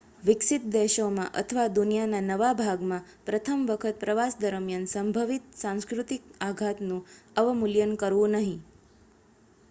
વિકસિત દેશોમાં અથવા દુનિયાના નવા ભાગમાં પ્રથમ વખત પ્રવાસ દરમ્યાન સંભવિત સાંસ્કૃતિક આઘાતનું અવમૂલ્યન કરવું નહીં